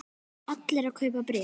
Allir að kaupa bréf